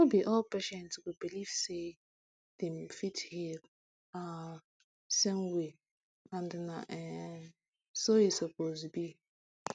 no be all patient go believe say dem fit heal um same way and na um so e suppose be um